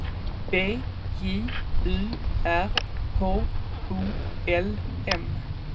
B J U R H O L M